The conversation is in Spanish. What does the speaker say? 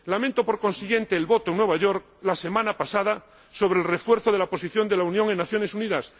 Lamento, por consiguiente, el sentido del voto en Nueva York, la semana pasada, sobre el refuerzo de la posición de la Unión en las Naciones Unidas.